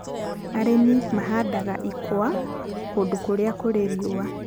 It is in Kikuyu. Arĩmi mahandaga ikwa kũndũ kũrĩa kũrĩ riũa.